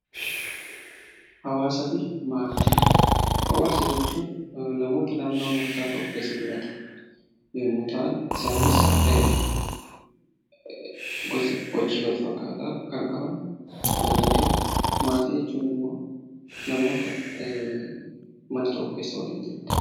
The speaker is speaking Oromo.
Hawaasa jechuun namoota naannoo murtaa'aa tokko keessa jiraatan yommuu ta'an, Isaanis gosa hojii wal fakkaataa kan qaban yommuu ta'u, maatii jechuun immoo namoota mana tokko keessa waliin jiraatanidha